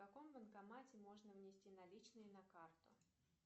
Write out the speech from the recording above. в каком банкомате можно внести наличные на карту